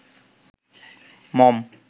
মম